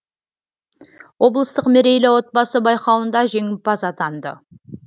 облыстық мерейлі отбасы байқауында жеңімпаз атанды